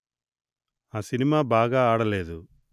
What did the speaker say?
ఆ సినిమా బాగా ఆడలేదు